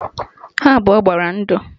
Ha abụọ gbara ndụ